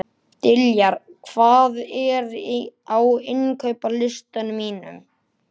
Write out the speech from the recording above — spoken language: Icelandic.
Diljar, hvað er á innkaupalistanum mínum?